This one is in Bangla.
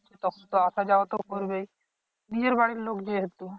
তখন আসা যাওয়া তো করবেই নিজের বাড়ির লোক যেহেতু